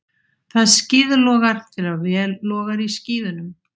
Það skíðlogar þegar vel logar í skíðunum.